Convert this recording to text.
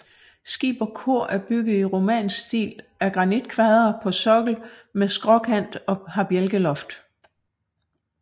Skib og kor er bygget i romansk stil af granitkvadre på sokkel med skråkant og har bjælkeloft